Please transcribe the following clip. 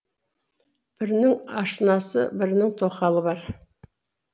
бірінің ашынасы бірінің тоқалы бар